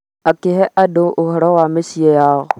akĩhe andũ ũhoro wa mũciĩ yao